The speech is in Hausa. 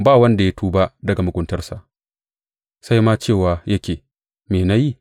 Ba wanda ya tuba daga muguntarsa, sai ma cewa yake, Me na yi?